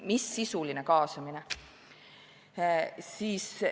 Mis sisuline kaasamine!